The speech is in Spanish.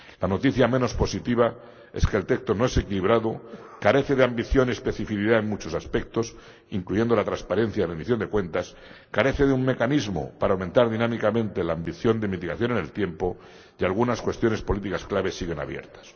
La noticia menos positiva es que el texto no es equilibrado, carece de ambición y especificidad en muchos aspectos —incluyendo la transparencia y rendición de cuentas—, carece de un mecanismo para aumentar dinámicamente la ambición de mitigación en el tiempo, y algunas cuestiones políticas clave siguen abiertas.